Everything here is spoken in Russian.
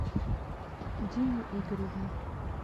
дине игоревне